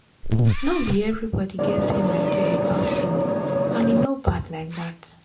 no be everybody get same idea about healing — and e no bad like that.